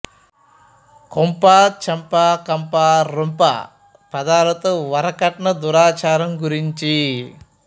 కొంప చెంప కంప రొంప పదాలతో వరకట్న దురాచారం గురించి